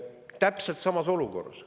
Täpselt samas olukorras.